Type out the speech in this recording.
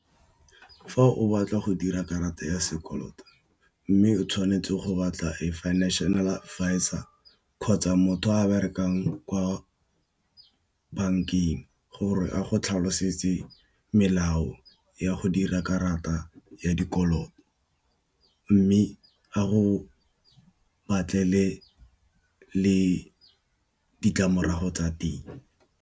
Fa o batla go dira karata ya sekoloto mme, o tshwanetse go batla financial advisor, kgotsa motho o berekang kwa bankeng gore a go tlhalosetse melao ya go dira karata ya dikoloto mme, a go batlele le ditlamorago tsa teng.